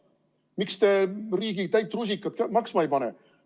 Miks te riigi täit rusikat maksma ei pane?